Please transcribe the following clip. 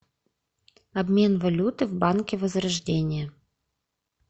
обмен валюты в банке возрождение